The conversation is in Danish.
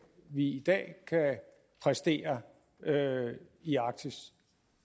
vi i dag kan præstere i arktis